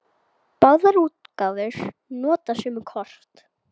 Báðar útgáfur nota sömu kort.